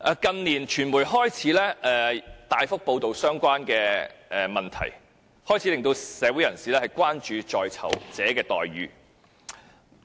近年，傳媒開始大幅報道相關問題，開始令社會人士關注在囚者的待遇。